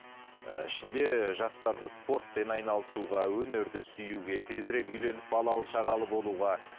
ііі ішінде жастарды спортпен айналысуға өнерді сүюге тезірек үйленіп балалы шағалы болуға